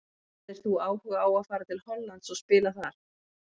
Hefðir þú áhuga á að fara til Hollands og spila þar?